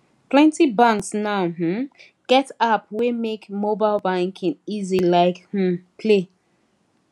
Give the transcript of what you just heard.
plenty banks now um get app wey make mobile banking easy like um play